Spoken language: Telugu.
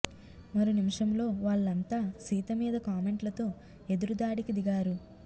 మరు నిమిషంలో వాళ్లంతా సీత మీద కామెంట్లతో ఎదురు దాడికి దిగారు